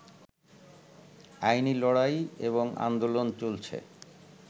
আইনি লড়াই এবং আন্দোলন চলছে